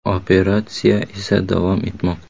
Operatsiya esa davom etmoqda.